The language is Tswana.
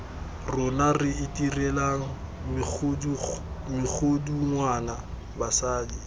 rona re itirelang megodungwana basadi